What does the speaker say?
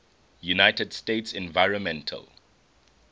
united states environmental